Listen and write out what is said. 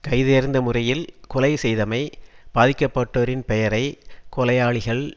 கைதேர்ந்த முறையில் கொலை செய்தமை பாதிக்கப்பட்டவரின் பெயரை கொலையாளிகள்